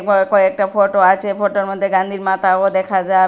কয় কয়েকটা ফটো আছে ফটোর মধ্যে গান্ধীর মাথাও দেখা যাব--